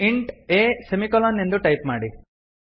int a semicolon ಎಂದು type ಮಾಡಿ